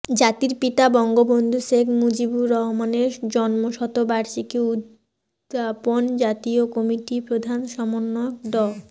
জাতির পিতা বঙ্গবন্ধু শেখ মুজিবুর রহমানের জন্মশতবার্ষিকী উদযাপন জাতীয় কমিটির প্রধান সমন্বয়ক ড